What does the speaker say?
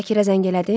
Şakirə zəng elədin?